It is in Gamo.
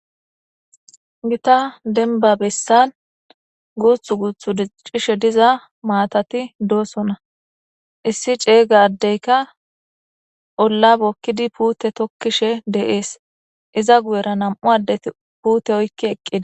gita denba bessan guuthu guuthu dicishe diza maatati doosona issi ceeyga addeyka ollabokkidi puute tokkishe deees iza guyera nam7u addeti puute oykki eqqidi